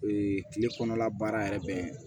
Ee kile kɔnɔla baara yɛrɛ bɛ